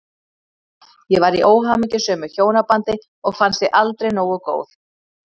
Ég var í óhamingjusömu hjónabandi og fannst ég aldrei nógu góð.